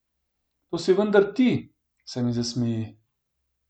To si vendar ti, se mi zasmeji.